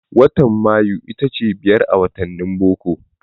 Watan Mayu itace ta biyar a wattanin boko.